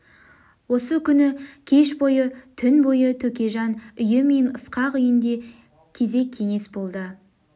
осы күні кеш бойы түн бойы төкежан үйі мен ысқақ үйінде кезек кеңес болды